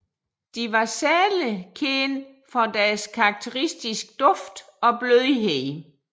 De var særligt kendte for deres karakteristiske duft og blødhed